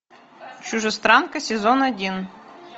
чужестранка сезон один